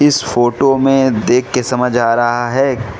इस फोटो में देखके समझ आ रहा है।